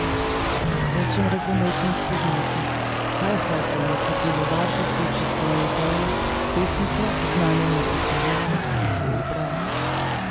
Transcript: Hočem razumeti in spoznati, kaj je hotel neki pivovar doseči s svojo idejo, tehniko, znanjem in sestavinami, ki jih je izbral.